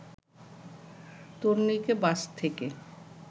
তরুণীকে বাস থেকে